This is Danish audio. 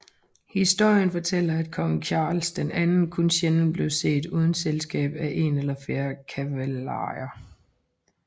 Historien fortæller at Kong Charles II kun sjældent blev set uden selskab af en eller flere cavalier